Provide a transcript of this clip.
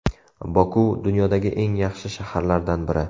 Boku dunyodagi eng yaxshi shaharlardan biri.